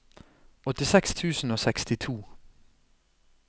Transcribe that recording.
åttiseks tusen og sekstito